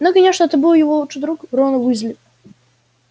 ну конечно это был его лучший друг рон уизли